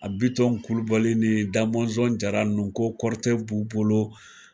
A bitɔn kulubali ni dazɔn jara nunnu , ko kɔrɔtɛ b'u bolo.